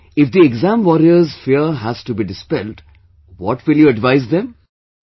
Soif the exam warrior's fear has to be dispelled, what will you advise them